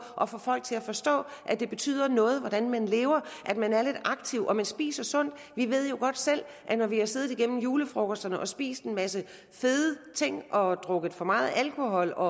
at få folk til at forstå at det betyder noget hvordan man lever at man er lidt aktiv og man spiser sundt vi ved jo godt selv at når vi har siddet igennem julefrokosterne og spist en masse fede ting og drukket for meget alkohol og